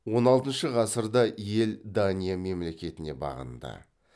он алтыншы ғасырда ел дания мемлекетіне бағынды